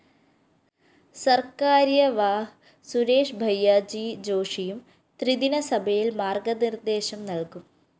സര്‍കാര്യവാഹ് സുരേഷ് ഭയ്യാജി ജോഷിയും ത്രിദിന സഭയില്‍ മാര്‍ഗ്ഗനിര്‍ദ്ദേശം നല്‍കും